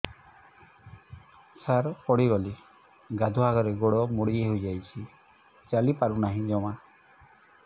ସାର ପଡ଼ିଗଲି ଗାଧୁଆଘରେ ଗୋଡ ମୋଡି ହେଇଯାଇଛି ଚାଲିପାରୁ ନାହିଁ ଜମା